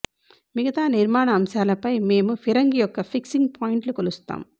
మిగతా నిర్మాణ అంశాలపై మేము ఫిరంగి యొక్క ఫిక్సింగ్ పాయింట్లు కొలుస్తాము